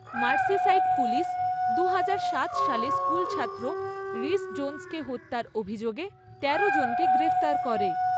Merseyside police দুহাজার সাত সালে স্কুলছাত্র রিস জোনসকে হত্যার অভিযোগে তেরো জনকে গ্রেপ্তার করে।